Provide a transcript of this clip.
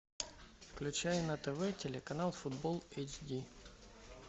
включай на тв телеканал футбол эйч ди